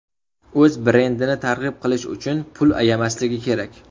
O‘z brendini targ‘ib qilish uchun pul ayamasligi kerak.